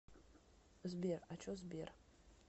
сбер а че сбер